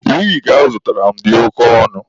Wigi a ọ zụtara m dị oke ọnụ.